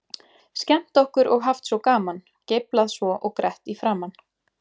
Skemmt okkur og haft svo gaman, geiflað svo og grett í framan.